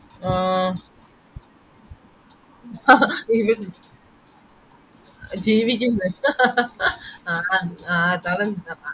ആഹ് ജീവിക്കുന്നെ ആഹ്